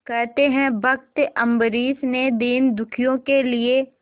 कहते हैं भक्त अम्बरीश ने दीनदुखियों के लिए